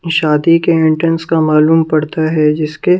शादी के एंट्रेंस का मालूम पड़ता है जिसके--